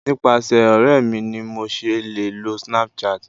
nipasẹ ọrẹ mi ni mo se le lo Snapchat